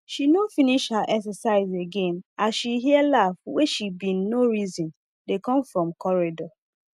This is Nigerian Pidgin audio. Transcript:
she nor finish her exercise again as she hear laff wen she bin nor reson dey com from corridor